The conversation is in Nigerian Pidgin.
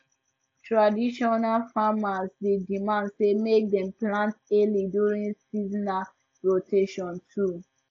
traditional farmers dey demand say make dem plant early during seasonal rotation too